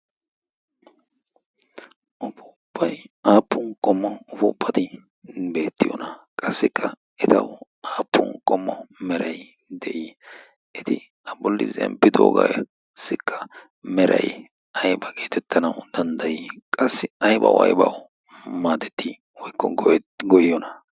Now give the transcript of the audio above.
fuuppai aappun qommo ufuuppati beettiyoona qassikka etau aappun qommo merai de7ii eti a bolli zemppidoogaassikka merai aiba geetettanau danddayii qassi aibau aibau maatettii woikko goyiyoona?